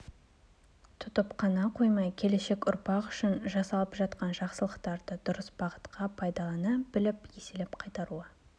тұтып қана қоймай келешек ұрпақ үшін жасалып жатқан жақсылықтарды дұрыс бағытқа пайдалана біліп еселеп қайтаруы